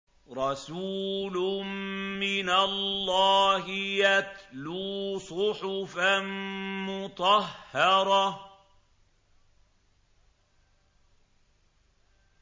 رَسُولٌ مِّنَ اللَّهِ يَتْلُو صُحُفًا مُّطَهَّرَةً